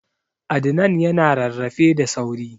Adnan ya na rarrafe da sauri